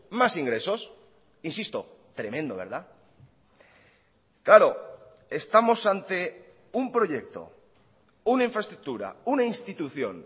más ingresos insisto tremendo verdad claro estamos ante un proyecto una infraestructura una institución